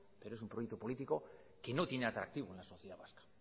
pero es un proyecto político que no tiene atractivo en la sociedad vasca